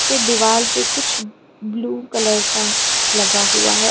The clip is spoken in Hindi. पे दीवाल पे कुछ ब्ल्यू कलर का लगा हुआ है।